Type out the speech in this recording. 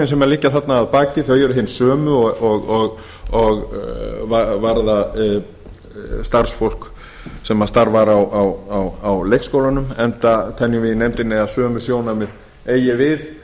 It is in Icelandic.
sem liggja þarna að baki þau eru hin sömu og varða starfsfólk sem starfar á leikskólunum enda teljum í nefndinni að sömu sjónarmið eigi við